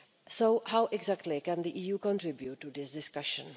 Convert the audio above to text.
So, how exactly can the EU contribute to this discussion?